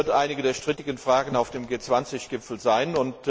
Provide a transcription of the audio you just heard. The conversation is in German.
Das wird eine der strittigen Fragen auf dem G20 Gipfel sein.